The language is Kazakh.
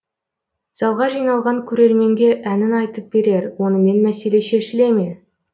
залға жиналған көрерменге әнін айтып берер онымен мәселе шешіле ме